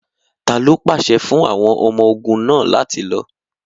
Talo pạsẹ fun àwọn ọmọ-ogun náa lati lo?